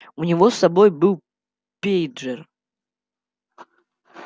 у него с собой был пейджер